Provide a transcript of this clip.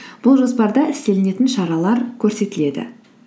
бұл жоспарда істелінетін шаралар көрсетіледі